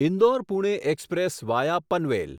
Indore Pune express via Panvel